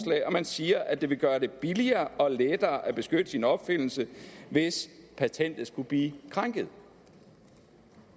siger at det vil gøre det billigere og lettere at beskytte sin opfindelse hvis patentet skulle blive krænket